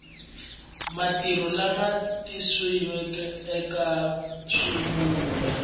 marito lama tikisiweke eka xivulwa